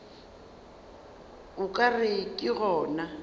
o ka re ke gona